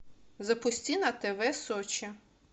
запусти на тв сочи